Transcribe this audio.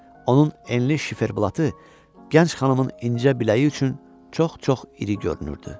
Onun enli şifer blatı gənc xanımın incə biləyi üçün çox-çox iri görünürdü.